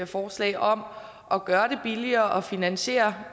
forslag om at gøre det billigere at finansiere